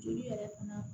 Joli yɛrɛ fana